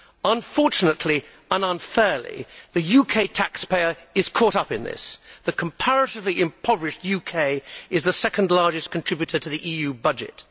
Unfortunately and unfairly, the UK taxpayer is caught up in this. The comparatively impoverished UK is the second largest contributor to the EU budget.